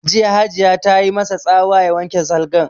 Jiya Hajiya ta yi ma sa tsawa ya wanke salgan!